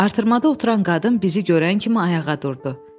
Artırmada oturan qadın bizi görən kimi ayağa durdu.